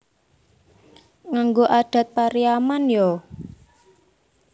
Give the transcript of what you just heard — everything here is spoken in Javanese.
Nganggo adat Pariaman yo?